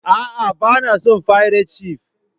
A'a, ba na son fairat shif.